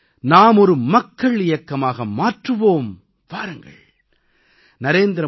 இந்த இயக்கத்தை நாம் ஒரு மக்கள் இயக்கமாக மாற்றுவோம் வாருங்கள்